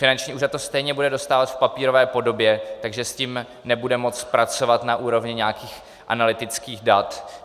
Finanční úřad to stejně bude dostávat v papírové podobě, takže s tím nebude moci pracovat na úrovni nějakých analytických dat.